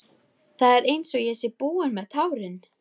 Það er einsog ég sé búin með tárin.